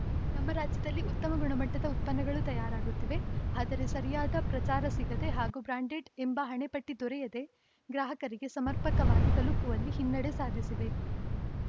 ನಮ್ಮ ರಾಜ್ಯದಲ್ಲಿ ಉತ್ತಮ ಗುಣಮಟ್ಟದ ಉತ್ಪನ್ನಗಳು ತಯಾರಾಗುತ್ತಿವೆ ಆದರೆ ಸರಿಯಾದ ಪ್ರಚಾರ ಸಿಗದೆ ಹಾಗೂ ಬ್ರಾಂಡೆಡ್‌ ಎಂಬ ಹಣೆಪಟ್ಟಿದೊರೆಯದೇ ಗ್ರಾಹಕರಿಗೆ ಸಮರ್ಪಕವಾಗಿ ತಲುಪುವಲ್ಲಿ ಹಿನ್ನೆಡೆ ಸಾಧಿಸಿವೆ